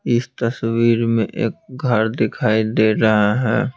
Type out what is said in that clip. इस तस्वीर में एक घर दिखाई दे रहा है।